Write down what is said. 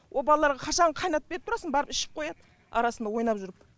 о балаларға қашанғы қайнатып беріп тұрасың барып ішіп қояды арасында ойнап жүріп